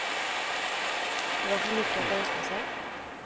Det var för mycket att önska sig.